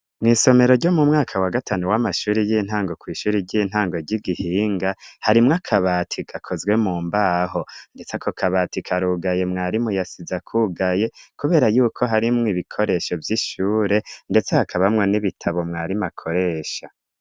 Mw'isomero ryo mu mwaka wa gatanu w'amashuri y'intango kw'ishuri ry'intango ry'igihinga harimwo akabati gakozwe mu mbaho, ndetse ako kabati karugaye mwari muyasiza akugaye, kubera yuko harimwo ibikoresho vy'ishure, ndetse hakabamwa n'ibitabo mwarimu akoresha.